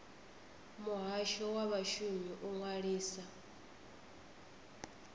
muhasho wa vhashumi u ṅwalisa